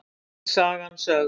Öll sagan sögð